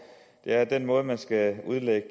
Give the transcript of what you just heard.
at den måde man skal udlægge